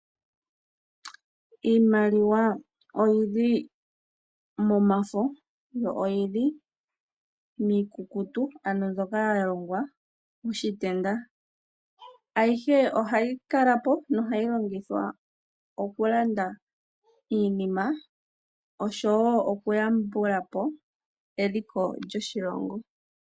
Iimaliwa oyili momafo yo oyili miikukutu ano mbyoka yalongwa moshitenda , ayihe ohayi kalapo no hayi longithwa okulanda iinima osho woo okuyambulapo eliko lyoshilongo.